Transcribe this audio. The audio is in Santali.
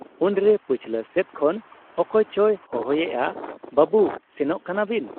ᱩᱱᱨᱮ ᱯᱟᱹᱪᱷᱞᱟᱹ ᱥᱮᱫ ᱠᱷᱚᱱ ᱚᱠᱚᱭ ᱪᱚᱭ ᱦᱚᱦᱚᱭᱮᱜ ᱟᱼᱼᱵᱟᱹᱵᱩ ! ᱥᱮᱱᱚᱜ ᱠᱟᱱᱟ ᱵᱤᱱ ?